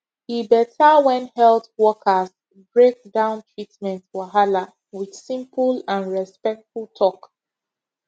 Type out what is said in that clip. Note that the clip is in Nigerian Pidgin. e better when health workers break down treatment wahala with simple and respectful talk